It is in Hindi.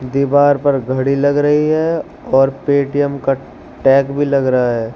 दीवार पर घड़ी लग रही है और पेटीएम का टैग भी लग रहा है।